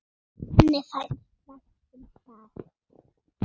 Henni fannst vænt um það.